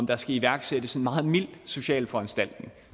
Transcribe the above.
der skal iværksættes en meget mild social foranstaltning